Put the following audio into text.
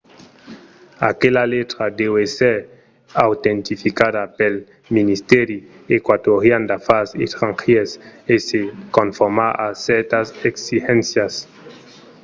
aquela letra deu èsser autentificada pel ministèri eqüatorian d’afars estrangièrs e se conformar a cèrtas exigéncias